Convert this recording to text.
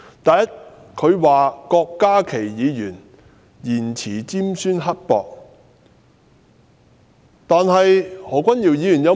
第一，他批評郭家麒議員言詞尖酸刻薄。